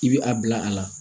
I bɛ a bila a la